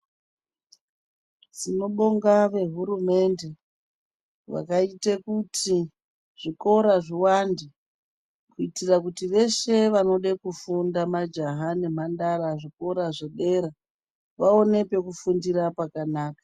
Tinobonga vehurumende vakaite kuti zvikora zviwande kuitira kuti veshe vanode kufunda majaha nemhandara zvikora zvedera vaone pekufundira pakanaka.